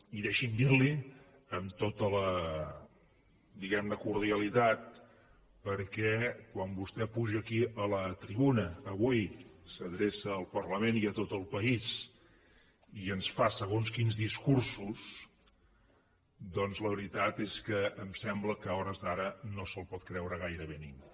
i deixi’m dir li ho amb tota la diguem ne cordialitat perquè quan vostè puja aquí a la tribuna avui s’adreça al parlament i a tot el país i ens fa segons quins discursos doncs la veritat és que em sembla que a hores d’ara no se’l pot creure gairebé ningú